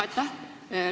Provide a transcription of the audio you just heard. Aitäh!